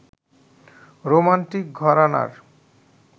romantic ঘরানার